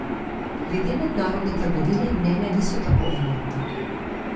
Glede mednarodne trgovine mnenja niso tako enotna.